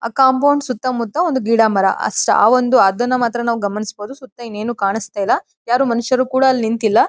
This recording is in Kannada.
ಆ ಕಾಂಪೌಂಡ್ ಸುತ್ತ ಮುತ್ತ ಒಂದು ಗಿಡ ಮರ ಅಷ್ಟೇ. ಆ ಒಂದು ಅದನ್ನ ಮಾತ್ರ ನಾವು ಗಮನಿಸಬಹುದು ಸುತ್ತ ಇನ್ನೇನು ಕಾಣಿಸ್ತಾ ಇಲ್ಲ. ಯಾರು ಮನುಷ್ಯರು ಕೂಡ ಅಲ್ಲಿ ನಿಂತಿಲ್ಲ.